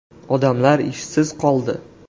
Odamlar ishsiz qoldi.